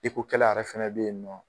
Eko kɛlɛ yɛrɛ fana bɛ ye nɔ.